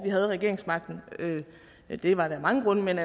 vi havde regeringsmagten det var det af mange grunde men